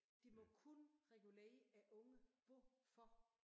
De må kun regulere ungerne hvorfor?